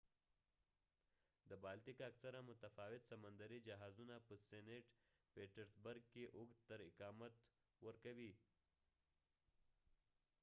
د بالتیک اکثره متفاوت سمندري جهازونه په سېنټ پیټرسبرګ کې اوږد تر اقامت ورکوي